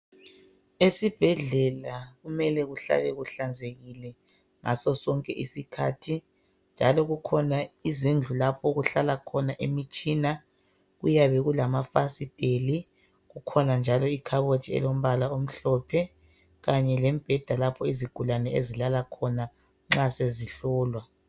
Esibhedlela kumele kuhlale kuhlanzekile ngaso sonke isikhathi njalo kukhona izindlu lapho okuhlala khona imitshina kuyabe kulamafasiteli kukhona njalo ikhabothi elombala omhlophe kanye lombheda lapho izigulane ezilala khona nxa sezihlolwa.